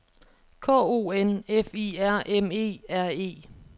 K O N F I R M E R E